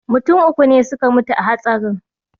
Mutum uku ne suka mutu a hatsarin